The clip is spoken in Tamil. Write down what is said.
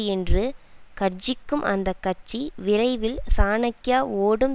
என்று கர்ஜிக்கும் அந்த கட்சி விரைவில் சாணக்யா ஓடும்